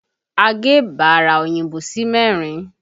A gé bara òyìnbó sí mẹ́rin